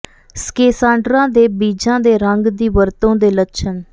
schisandra ਦੇ ਬੀਜਾਂ ਦੇ ਰੰਗ ਦੀ ਵਰਤੋਂ ਦੇ ਲੱਛਣ